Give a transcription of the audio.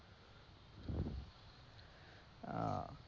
আহ